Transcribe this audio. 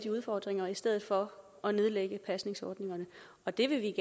udfordringer i stedet for at nedlægge pasningsordningerne og det vil vi